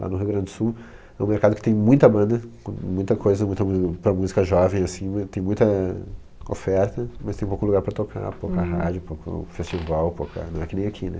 Lá no Rio Grande do Sul é um mercado que tem muita banda, muita coisa para música jovem, assim, tem muita oferta, mas tem pouco lugar para tocar, pouca rádio, pouco festival, pouca... Não é que nem aqui, né?